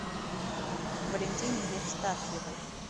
валентине евстафьевой